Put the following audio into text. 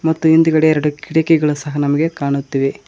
ಮತ್ತು ಹಿಂದ್ಗಡೆ ಎರಡು ಕಿಟಕಿಗಳು ಸಹ ನಮಗೆ ಕಾಣುತ್ತಿವೆ.